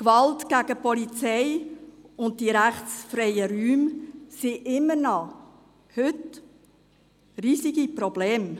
Gewalt gegen die Polizei und die rechtsfreien Räume sind heute immer noch riesige Probleme.